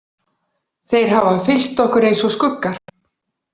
Þeir hafa fylgt okkur eins og skuggar.